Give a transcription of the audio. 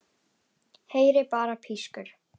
Heyri bara pískur.